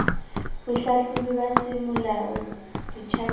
bohlahlobi ba semolao ba ditjhankane